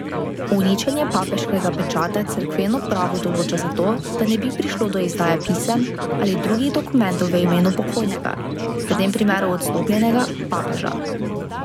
Uničenje papeškega pečata cerkveno pravo določa zato, da ne bi prišlo do izdaje pisem ali drugih dokumentov v imenu pokojnega, v tem primeru odstopljenega, papeža.